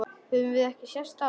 Höfum við ekki sést áður?